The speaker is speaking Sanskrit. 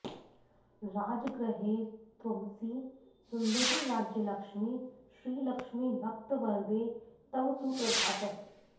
राजगृहे त्वमसि सुन्दरि राज्यलक्ष्मी श्रीलक्ष्मि भक्तवरदे तव सुप्रभातम्